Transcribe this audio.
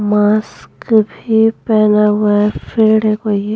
mask भी पहना हुआ है --